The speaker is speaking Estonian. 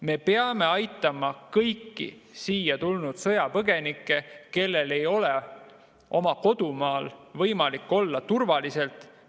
Me peame aitama kõiki siia tulnud sõjapõgenikke, kellel ei ole oma kodumaal võimalik turvaliselt olla.